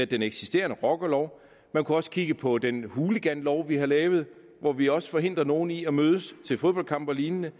den eksisterende rockerlov han kunne også kigge på den hooliganlov vi har lavet hvor vi også forhindrer nogle i at mødes til en fodboldkamp og lignende